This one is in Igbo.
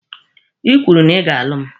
Ị kwuru na ị ga-alụ mụ.